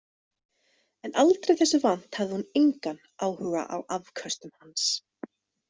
En aldrei þessu vant hafði hún engan áhuga á afköstum hans.